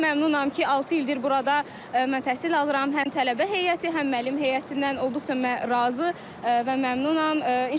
Çox məmnunam ki, altı ildir burada mən təhsil alıram, həm tələbə heyəti, həm müəllim heyətindən olduqca razı və məmnunam.